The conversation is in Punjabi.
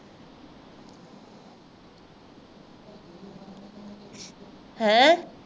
ਹੈਂ?